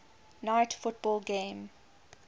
night football game